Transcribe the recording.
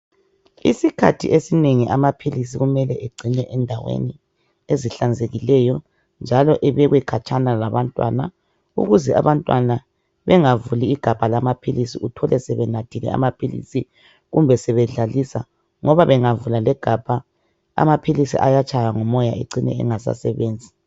Isikhathi esinengi amaphilizi kumelwe engcinwe endaweni ezihlanzekileyo njalo ebekwe khatshana labantwana. Ukuze abantwana bengavuli igabha lamaphilizi, uthole sebenathile amaphilizi kumbe sebedlalisa ngaba bengavula legabha amaphilisi ayatshaywa ngumoya ecine engasasebenzi.